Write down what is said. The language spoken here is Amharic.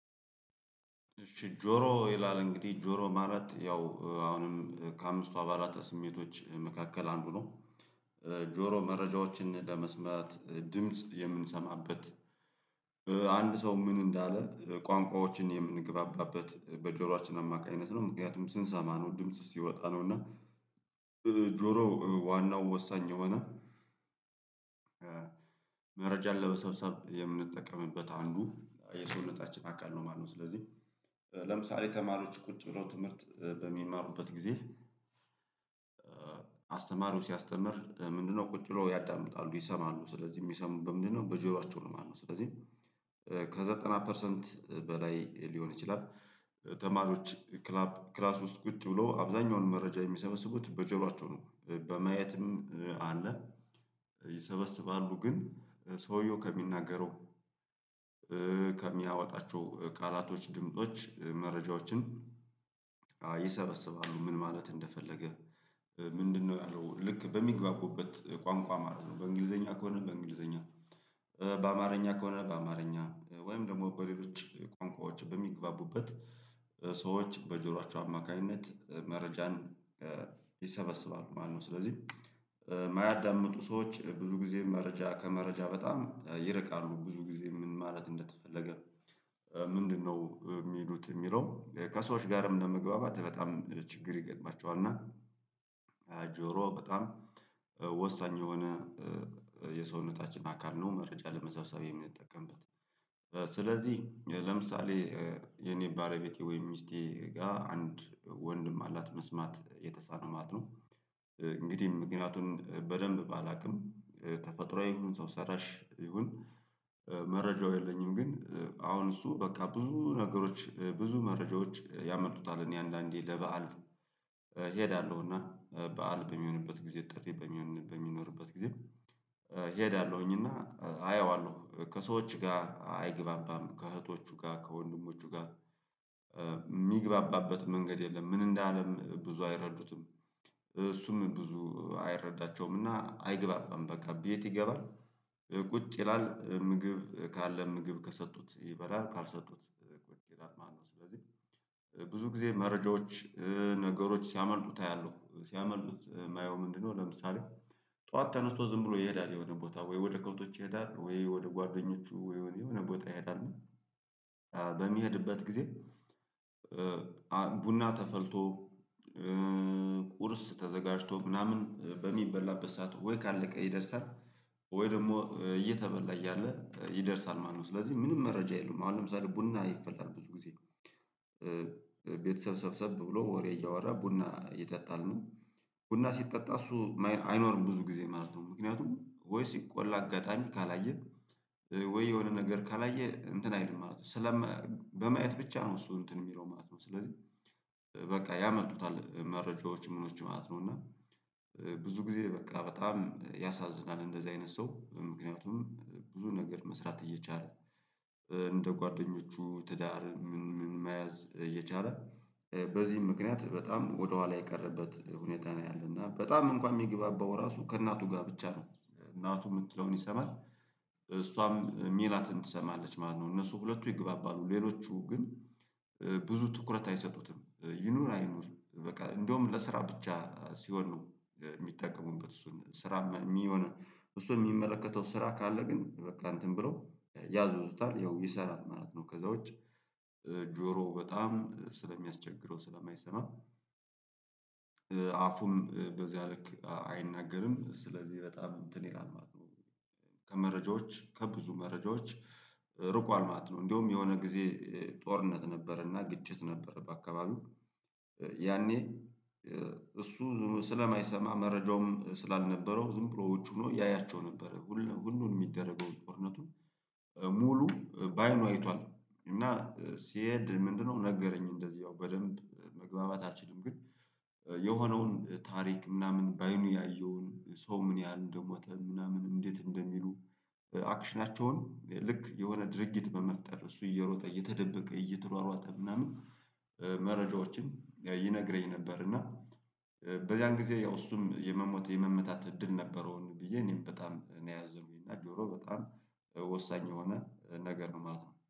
እሺ ጆሮ ይላል እንግዲህ ጆሮ ማለት ያው አሁንም ከአምስቱ አባላት ስሜቶች መካከል አንዱ ነው። ጆሮ መረጃዎችን ለመስማት ድምጽ የምንሰማበት። አንድ ሰው ምን እንዳለ ቋንቋዎችን የምንግባባበት በጆሮአችን አማካኝነት ነው ምክንያቱም ስንሰማ ነው ድምጽ ሲወጣ ነው እና ጆሮ ዋናው ወሳኝ የሆነ መረጃን ለበሰብሰብ የምንጠቀምበት አንዱ የሰውነታችን አካል ነው ማለት ነው። ስለዚህ ለምሳሌ ተማሪዎች ቁጭ ብለው ትምህርት በሚማሩበት ጊዜ አስተማሪው ሲያስተምር ምንድነው ቁጭ ብለው ያዳምጣሉ ይሰማሉ ስለዚህ የሚሰሙበት ምንድነው በጆሯቸው ነው ማለት ነው። ስለዚህ ከዘጠና ፐርሰንት በላይ ሊሆን ይችላል። ተማሪዎች ክላስ ውስጥ ቁጭ ብሎ አብዛኛውን መረጃ የሚሰበስቡት በጀሯቸው ነው። በማየትም አለ ይሰበስባሉ ግን ሰውየው ከሚናገረው ከሚያወጣቸው ቃላቶች ድምጾች መረጃዎችን ይሰበስባሉ። ምን ማለት እንደፈለገ ምንድነው ያለው ልክ በሚግባቡበት ቋንቋ ማለት ነው። በእንግሊዘኛ ከሆነ በእንግሊዘኛ በአማርኛ ከሆነ በአማርኛ ወይም ደግሞ በሌሎች ቋንቋዎች በሚግባቡበት ሰዎች በጆሯቸው አማካኝነት መረጃን ይሰበስባሉ ማለት ነው። ስለዚህ የማያዳምጡ ሰዎች ብዙ ጊዜ መረጃ ከመረጃ በጣም ይርቃሉ ብዙ ጊዜ ምን ማለት እንደተፈለገ ምንድነው የሚሉት የሚለው ከሰዎች ጋርም ለመግባባት በጣም ችግር ይገጥማቸዋል። እና ጆሮ በጣም ወሳኝ የሆነ የሰውነታችን አካል ነው። መረጃ ለመሰብሰቢያ የምንጠቀምበት ስለዚህ ለምሳሌ የኔ ባለቤቴ ወይም ሚስቴ ጋር አንድ ወንድም አላት መስማት የተሳነው ማለት ነው። እንግዲህ ምክንያቱን በደንብ ባላውቅም ተፈጥሮአዊ ይሁን ሰው ሰራሽ ይሁን መረጃው የለኝም። ግን አሁን እሱ በቃ ብዙ ነገሮች ብዙ መረጃዎች ያመልጡታል እኔ አንዳንዴ ለበአል እሄዳለሁ እና በዓል በሚሆንበት ጊዜ ጠሪ በሚሆን በሚኖርበት ጊዜ እሄዳለሁኝ እና አየዋለሁ ከሰዎች ጋር አይገባባም ከእህቶቹ ጋር ከወንድሞቹ ጋር የሚገባባበት መንገድ የለም። ምን እንደ አለም ብዙ አይረዱትም እሱም ብዙ አይረዳቸውምና አይግባባም በቃ ቤት ይገባል። ቁጭ ይላል ምግብ ካለ ምግብ ከሰጡት ይበላል ካልሰጡት ቁጭ ይላል ማለት ነው። ስለዚህ ብዙ ጊዜ መረጃዎች ነገሮች ሲያመልጡት አያለሁ ሲያመልጡት የማየው ምንድነው ለምሳሌ ጠዋት ተነስቶ ዝም ብሎ ይሄዳል የሆነ ቦታ ወይ ወደ ከብቶች ይሄዳል ወይ ወደ ጓደኞቹ ወይ የሆነ ቦታ ይሄዳል። በሚሄድበት ጊዜ ቡና ተፈልቶ ቁርስ ተዘጋጅቶ ምናምን በሚበላበት ሰዓት ወይ ካለቀ ይደርሳል ወይ ደግሞ እየተበላ እያለ ይደርሳል ማነው ስለዚህ ምንም መረጃ የለውም። አሁን ለምሳሌ ቡና ይፈላል ብዙ ጊዜ ቤተሰብ ሰብሰብ ብሎ ወሬ እያወራ ቡና ይጠጣል እና ቡና ሲጠጣ እሱ አይኖርም ብዙ ጊዜ ማለት ነው። ምክንያቱም ወይ ሲቆላ አጋጣሚ ካላየ ወይ የሆነ ነገር ካላየ እንትን አይልም ማለት ነው። ስለም በማየት ብቻ ነው እሱ እንትን የሚለው ማለት ነው። ስለዚህ በቃ ያመልጡታል መረጃዎች ምኖች ማለት ነው እና ብዙ ጊዜ በቃ በጣም ያሳዝናል። እንደዚህ አይነት ሰው ምክንያቱም ብዙ ነገር መስራት እየቻለ እንደ ጓደኞቹ ትዳር ምን ምን መያዝ እየቻለ በዚህም ምክንያት በጣም ወደኋላ የቀረበት ሁኔታ ነው ያለና በጣም እንኳን የሚግባባው ራሱ ከእናቱ ጋር ብቻ ነው። እናቱ የምትለውን ይሰማል እሷም የሚላትን ትሰማለች ማነው እነሱ ሁለቱ ይግባባሉ። ሌሎቹ ግን ብዙ ትኩረት አይሰጡትም ይኑር አይኑር በቃ እንደውም ለስራ ብቻ ሲሆን ነው የሚጠቀሙበት እሱን ስራ የሚሆነው እሱን የሚመለከተው ስራ ካለ ግን በቃ እንትን ብለው ያዝዙታል ያው ይሰራል ማለት ነው። ከዛ ውጪ ጆሮ በጣም ስለሚያስቸግረው ስለማይሰማ አፉም በዚያ ልክ አይናገርም ስለዚህ በጣም እንትን ይላል ማለት ነው። ከመረጃዎች ከብዙ መረጃዎች ርቋል ማለት ነው። እንደውም የሆነ ጊዜ ጦርነት ነበረና ግጭት ነበረ በአካባቢው ያኔ እሱ ዝም ስለማይሰማ መረጃውም ስላልነበረው ዝም ብሎዎች ሆኖ ያያቸው ነበረ ሁሉንም የሚደረገው ጦርነቱን ሙሉ በአይኑ አይቷል። እና ሲሄድ ምንድነው ነገረኝ እንደዚሁ በደንብ መግባባት አልችልም። ግን የሆነውን ታሪክ ምናምን በአይኑ ያየውን ሰው ምን ያህል እንደሞተ ምናምን እንዴት እንደሚሉ አክሽናቸውን ልክ የሆነ ድርጊት በመፍጠር እሱ እየሮጠ እየተደበቀ እየተሯሯጠ ምናምን መረጃዎችን ይነግረኝ ነበር። እና በዚያን ጊዜ ያው እሱም የመሞት የመመታት እድል ነበረውን ብዬ እኔም በጣም እኔ ያዘንኩኝ እና ጆሮ በጣም ወሳኝ የሆነ ነገር ነው ማለት ነው